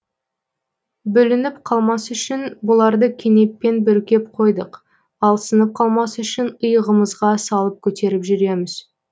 бүлініп қалмасы үшін бұларды кенеппен бүркеп қойдық ал сынып қалмасы үшін иығымызға салып көтеріп жүреміз